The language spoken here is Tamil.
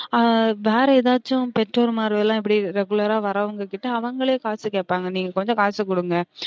ஆஹ் வேற எதாச்சும் பெற்றோர்மார்களாம் இப்டி regular ஆ வரவுங்க கிட்ட அவுங்கலே காசு கேப்பாங்க நீங்க கொஞ்சம் காசு குடுங்க